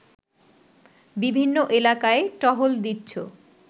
বিভিন্ন এলাকায় টহল দিচ্ছ